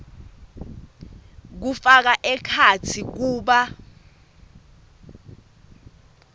kufaka ekhatsi kuba